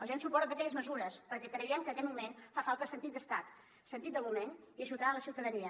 donarem suport a totes aquelles mesures perquè creiem que aquest moment fa falta sentit d’estat sentit del moment i ajudar la ciutadania